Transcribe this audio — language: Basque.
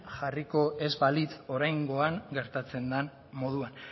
jarriko ez balitz oraingoan gertatzen dan moduan